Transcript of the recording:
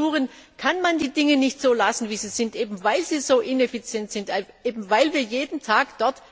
Bei den Agenturen kann man die Dinge nicht so lassen, wie sie sind, eben weil die Agenturen so ineffizient sind, weil wir dort jeden Tag